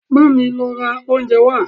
Bámi lọ ra oúnjẹ wá!